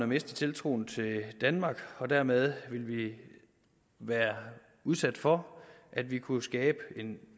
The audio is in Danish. mistet tiltroen til danmark og dermed ville vi være udsat for at vi kunne skabe en